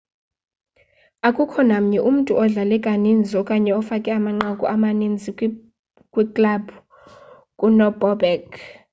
akukho namnye umntu odlale kaninzi okanye ofake amanqaku amaninzi kwiklabhu kunobobek